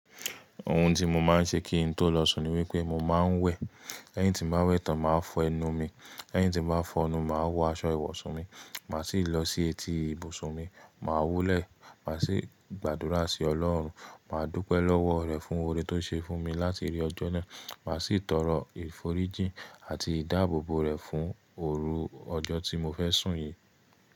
Ohun tí mo máa ń ṣe kí n tó lọ sùn ni wípé mo máa ń wẹ̀, lẹ́yìn tí n ba wẹ̀ tán máà fọ ẹnu mi, lẹ́yìn tí n ba fọ ẹnu, màá wọ aṣọ ìwọ̀sù mi, màá sì lọ sí etí ibùsùn mi, màá wolẹ̀, màá sì gbàdúrà sí Ọlọ́run, màá dúpẹ́ lọ́wọ́ rẹ̀ fún oore tó ṣe fún mi láti rí ọjọ́ náà, màá sì tọrọ ìforíjí àti ìdáàbòbò rẹ̀ fún òru ọjọ́ tí mo fẹ́ sùn yìí.